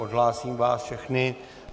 Odhlásím vás všechny.